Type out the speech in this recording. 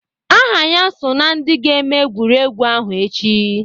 Aha ya so na ndị ga-eme egwuregwu ahụ echi.